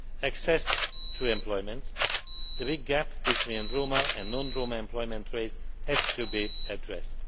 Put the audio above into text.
Access to employment the big gap between Roma and non Roma employment rates has to be addressed.